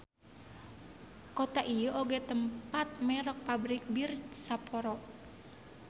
Kota ieu oge tempat merk Pabrik Bir Sapporo.